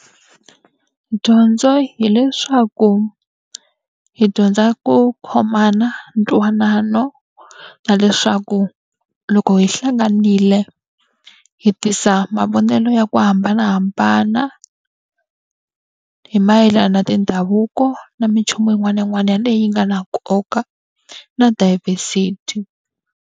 Dyondzo hileswaku hi dyondza ku khomana, ntwanano, na leswaku loko hi hlanganile hi hetisa mavonelo ya ku hambanahambana hi mayelana na mindhavuko na minchumu yin'wana na yin'wana leyi yi nga na nkoka na diversity.